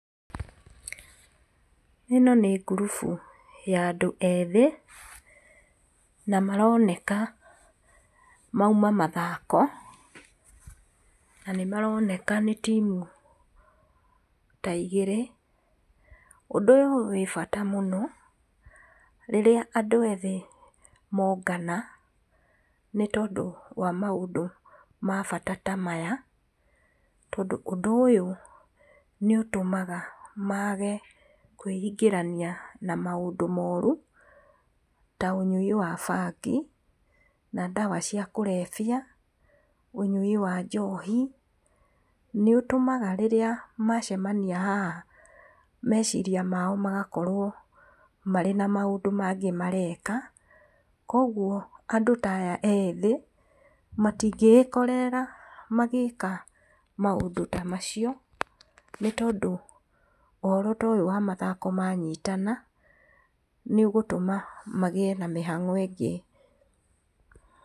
Ĩno nĩ ngurubu ya andũ ethĩ na maraoneka mauma mathako. Na nĩmaroneka nĩ team ta igĩrĩ. Ũndũ ũyũ wĩ bata mũno, rĩrĩa andũ ethĩ mongana nĩ tondũ wa maũndũ ma bata ta maya, nĩ tondũ ũndũ ũyũ nĩ ũtũmaga mage kwĩingĩrania na maũndũ moru, ta ũnyui wa bangi na ndawa cia kũrebia, ũnyui wa njohi nĩũtũmaga rĩrĩa macemania haha meceria mao magakorwo marĩ na maũndũ mangĩ mareka. Koguo, andũ ta aya ethĩ matingĩgĩkorerera magĩka maũndũ ta macio, nĩ tondũ ũhoro ta ũyũ wa mathako manyitana nĩ ũgũtũma magĩe na mĩhang'o ĩngĩ.